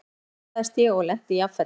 Loks stöðvaðist ég og lenti jafnfætis.